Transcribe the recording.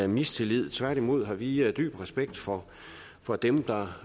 mistillid tværtimod har vi dyb respekt for for dem